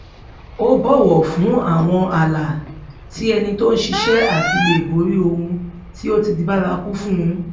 ó bòwò fún àwọn ààlà tí ẹnì tó ń ṣiṣẹ àti lè borí ohun tí ó ti di bárakú fun